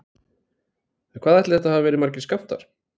En hvað ætli þetta hafi verið margir skammtar?